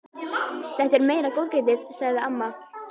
Þetta er meira góðgætið, sagði amma.